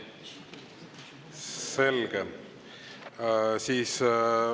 Selge!